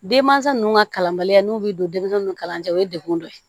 Denmansa ninnu ka kalanbaliya n'u bɛ don denmisɛnninw kalan cɛ o ye degun dɔ ye